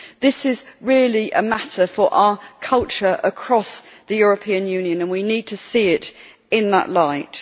This is really a matter for our culture across the European Union, and we need to see it in that light.